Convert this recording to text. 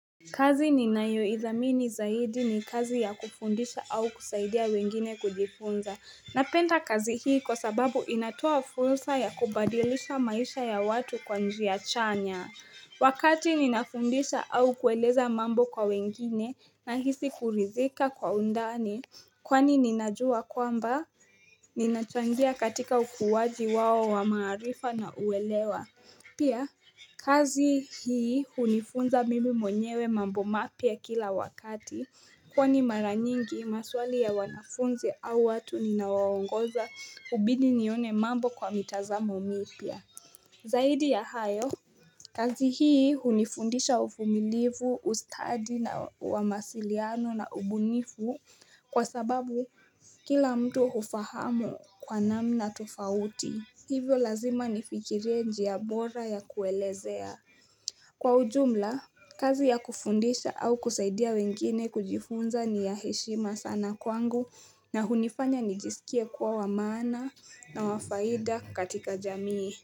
Kazi ninayoidhamini zaidi ni kazi ya kufundisha au kusaidia wengine kujifunza. Napenda kazi hii kwa sababu inatoa fursa ya kubadilisha maisha ya watu kwa njia chanya. Wakati ninafundisha au kueleza mambo kwa wengine nahisi kuridhika kwa undani. Kwani ninajua kwamba ninachangia katika ukuwaji wao wamarifa na kuwelewa. Pia kazi hii hunifunza mimi mwenyewe mambo mapya kila wakati kwani mara nyingi maswali ya wanafunzi au watu ninawaongoza hubidi nione mambo kwa mitazamo mipya. Zaidi ya hayo kazi hii hunifundisha uvumilivu, ustadi na mawasiliano na ubunifu kwa sababu kila mtu hufahamu kwa namna tufauti. Hivyo lazima nifikirie njia bora ya kuelezea. Kwa ujumla, kazi ya kufundisha au kusaidia wengine kujifunza ni ya heshima sana kwangu na hunifanya nijisikie kuwa wa maana na wa faida katika jamii.